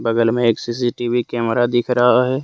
बगल में एक सी_सी_टी_वी कैमरा दिख रहा है।